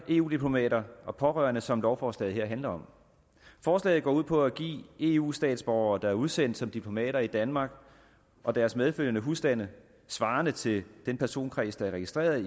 eu diplomater og pårørende som lovforslaget her handler om forslaget går ud på at give eu statsborgere der er udsendt som diplomater i danmark og deres medfølgende husstande svarende til den personkreds der er registreret